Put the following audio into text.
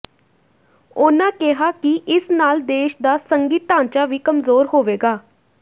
ਉਨ੍ਹਾਂ ਕਿਹਾ ਕਿ ਇਸ ਨਾਲ ਦੇਸ਼ ਦਾ ਸੰਘੀ ਢਾਂਚਾ ਵੀ ਕਮਜ਼ੋਰ ਹੋਵੇਗਾ